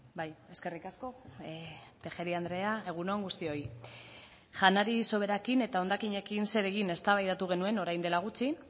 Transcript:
bai eskerrik asko tejeria andrea egun on guztioi janari soberakin eta hondakinekin zer egin eztabaidatu genuen orain dela gutxi